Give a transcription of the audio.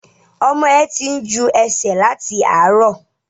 Ọmọ ẹ tí ń jú ẹsẹ̀ láti àárọ̀.